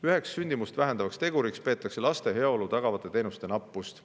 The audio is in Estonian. Üheks sündimust vähendavaks teguriks peetakse laste heaolu tagavate teenuste nappust.